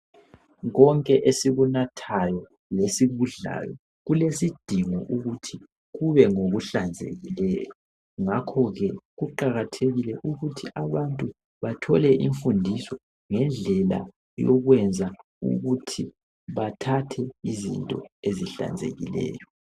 Konke esikunathayo lesikudlayo kulesidingo ukuthi kube ngokuhlanzekileyo ngakhoke kuqakathekile ukuthi abantu bathole imfundiso ngendlela yokwenza ukuthi bathathe izinto ezihlanzekileyo.